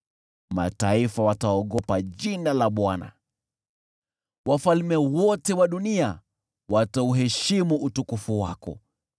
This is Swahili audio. Mataifa wataogopa jina la Bwana , wafalme wote wa dunia watauheshimu utukufu wako.